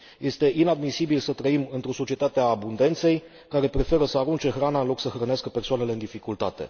Este inadmisibil să trăim într o societate a abundenței, care preferă să arunce hrana, în loc să hrănească persoanele în dificultate.